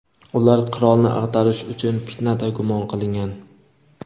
ular qirolni ag‘darish uchun fitnada gumon qilingan.